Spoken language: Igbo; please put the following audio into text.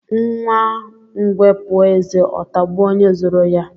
Nwa ngwe puo eze ọ tagbuo ónyé zuru ya.